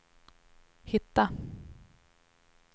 hitta